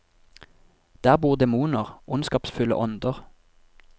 Der bor demoner, onskapsfulle ånder.